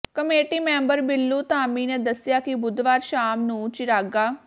committee member Billu Dhami ਨੇ ਦੱਸਿਆ ਕਿ ਬੁੱਧਵਾਰ ਸ਼ਾਮ ਨੂੰ ਚਿਰਾਗਾ